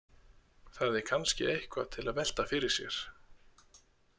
Það er kannski eitthvað til að velta fyrir sér.